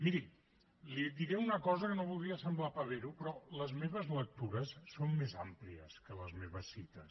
miri li diré una cosa amb què no voldria semblar pavero però les meves lectures són més àmplies que les meves cites